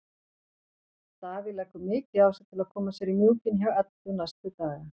Davíð leggur mikið á sig til að koma sér í mjúkinn hjá Eddu næstu daga.